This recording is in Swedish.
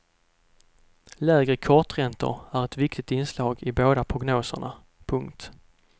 Lägre korträntor är ett viktigt inslag i båda prognoserna. punkt